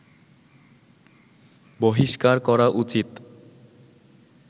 বহিষ্কার করা উচিত